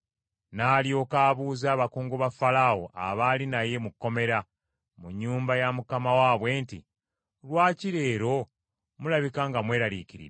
N’alyoka abuuza abakungu ba Falaawo abaali naye mu kkomera, mu nnyumba ya mukama waabwe nti, “Lwaki leero mulabika nga mweraliikiridde?”